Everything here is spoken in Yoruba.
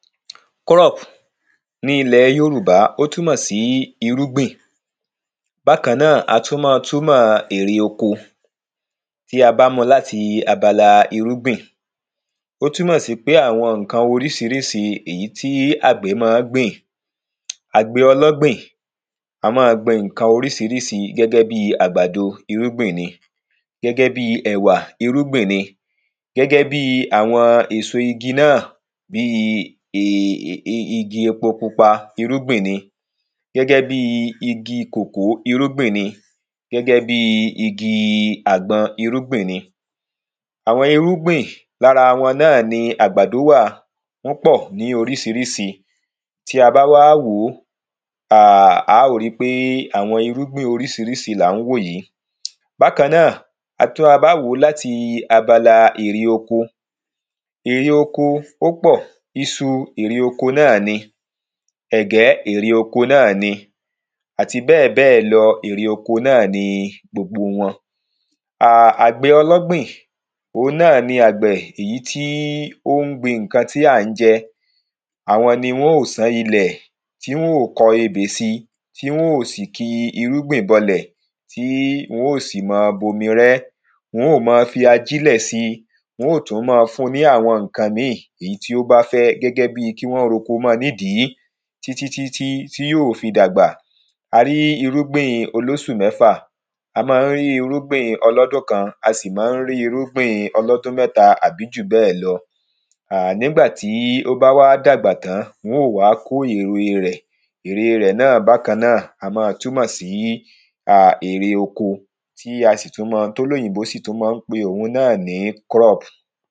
Crop, ní ilẹ̀ Yorùbá, ó túnmọ̀ sí irúgbìn, bákan náà, á túnmọ̀ erè oko. Tí a bá mu láti abala irúgbìn, ó túnmọ̀ sí pé àwọn ǹkan orísirísi èyí tí àgbẹ̀ ma ń gbìn. Àgbẹ̀ ọlọ́gbìn, á ma gbin ǹkan orísirísi, gẹ́gẹ́ bi àgbàdo, irúgbìn ni, gẹ́gẹ́ bi ẹ̀wà, irúgbìn ni, gẹ́gẹ́ bi àwọn èso igi nà, bi ìgì epo pupa, irúgbìn ni, gẹ́gẹ́ bi igi kòkó, irúgbìn ní, gẹ́gẹ́ bi igi àgbọn, irúgbìn ni. Àwọn irúgbìn, lára wọn náà ní àgbàdo wà, wọ́n pọ̀ ní orísírìsì, tí a bá wá wòó, á ó ri pé àwọn irúgbìn orísirísi làá ń wò yí. Bákàn náà, tí a ba wò láti abala ère oko, ère oko, ó pọ̀, ìsù erè oko náà ní, ẹ̀gẹ́ erè oko náà ní àti bẹ́ẹ̀bẹ́ẹ̀ lò erè oko náà ní gbogbo wọn. Àgbẹ̀ ọlọ́gbìn, òun náà ni àgbẹ̀, èyí tí ó ń gbin ǹkan tí à ń jẹ, àwọn ní wọn ô sán ilè, tí wọn ô kọ́ ebè si, tí wọn ô sì ki irúgbìn bọlè, tí wọn ô sì ma bomi rẹ́, wọn ó ma fi ajínlẹ̀ si, wọn ó tún ma fun ní àwọn ǹkan míì, èyí tí ó bá fẹ́, gẹ́gẹ́ bi kí wọ́n r’oko mọ nì dìí, tí tí tí tí tí, tí yóò fi dàgbà. A rí irúgbìn olósù mẹ́fà, a má ń rí irúgbìn ọlọ́dún kan, a sì má ń rí irúgbìn ọlọ́dún mẹ́ta àbí jùbẹ́ẹ̀ lọ. Nígbà tí ó bá wá dàgbà tán, wọn ô wá kó ère rẹ̀, ère rẹ̀ náà bákan náà, á ma túnmọ̀ sí um ère oko tí a sì tún ma, tí olóyìnbọ́ sì tún ma ń pé òun náà ní crop.